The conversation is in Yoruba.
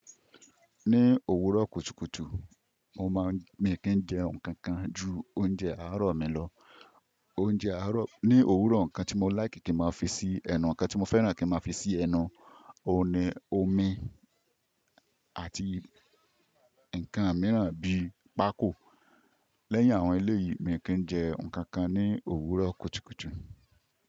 Ní òwúrọ̀ kùtùkùtù, mo máa ń mi kí n jẹ nǹkan kan ju oúnjẹ àárọ̀ mi lọ. Oúnjẹ àárọ̀, ní òwúrọ̀, nǹkan tí mo láìkì kí n máa fi sí ẹnu, nǹkan tí mo fẹ́ràn kí n máa fi sí ẹnu, ó ni omi àti nǹkan mìíràn bíi pákò. Lẹ́yìn àwọn elé yìí, mi kí ń jẹ nǹkan kan ní òwúrọ̀ kùtùkùtù.